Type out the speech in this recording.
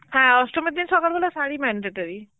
হ্যাঁ অষ্টমীর দের সকালবেলায় শাড়ি mandatory